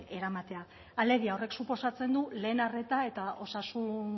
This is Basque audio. eramatea alegia horrek suposatzen du lehen arreta eta osasun